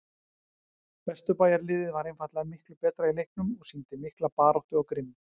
Vesturbæjarliðið var einfaldlega miklu betra í leiknum og sýndi mikla baráttu og grimmd.